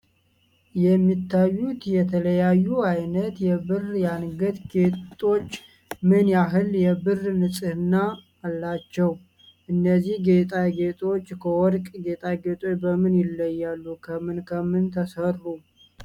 የሚታዩት የተለያዩ አይነት የብር የአንገት ጌጦች ምን ያህል የብር ንፅህና አላቸው? እነዚህ ጌጣጌጦች ከወርቅ ጌጣጌጦች በምን ይለያሉ? ከምን ከምን ተሰሩ